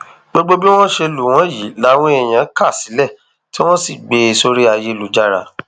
gbogbo bí wọn ṣe lù wọn yìí làwọn èèyàn kà sílẹ tí wọn sì gbé e sórí ayélujára